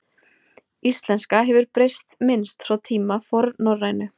Íslenska hefur breyst minnst frá tíma fornnorrænu.